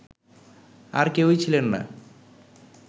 আর কেউই ছিলেন না